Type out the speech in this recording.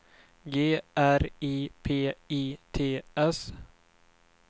G R I P I T S